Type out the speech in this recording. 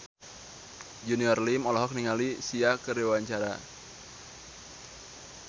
Junior Liem olohok ningali Sia keur diwawancara